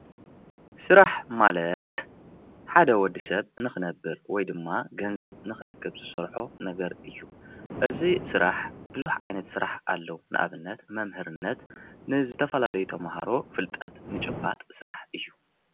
ስራሕ ማለት ሓደ ወድሰብ ንክነብር ወይ ድማ ገንዘብ ንክረክብ ዝሰርሖ ነገር እዩ። እዚ ስራሕ ብዙሕ ዓይነት ስራሕ አሎ ንኣብነት መምህርነት ንዝተፈላለዩ ተምሃሮ ፍልጠት ምጭባጥ ስራሕ እዩ።